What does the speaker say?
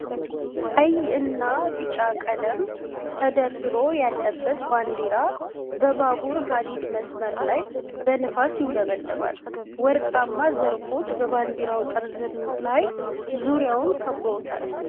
ቀይ እና ቢጫ ቀለም ተደርድሮ ያለበት ባንዲራ በባቡር ሃዲድ መስመር ላይ በንፋስ ይውለበለባል። ወርቃማ ዘርፎች በባንዲራው ጠርዝ ላይ ዙሪያውን ከበውታል።